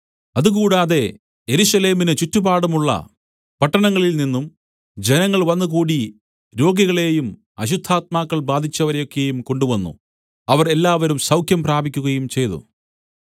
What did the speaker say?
അതുകൂടാതെ യെരൂശലേമിന് ചുറ്റുപാടുമുള്ള പട്ടണങ്ങളിൽനിന്നും ജനങ്ങൾ വന്നുകൂടി രോഗികളെയും അശുദ്ധാത്മാക്കൾ ബാധിച്ചവരെയൊക്കെയും കൊണ്ടുവന്നു അവർ എല്ലാവരും സൗഖ്യം പ്രാപിക്കുകയും ചെയ്തു